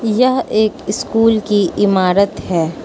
यह एक स्कूल की इमारत है।